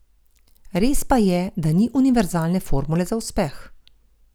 Res pa je, da ni univerzalne formule za uspeh.